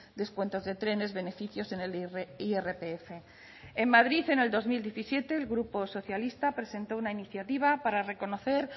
descuentos de trenes beneficios en el irpf en madrid en el dos mil diecisiete el grupo socialista presentó una iniciativa para reconocer